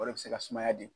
O de bɛ se ka sumaya di